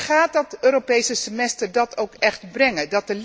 Gaat dat Europees semester dat ook echt brengen?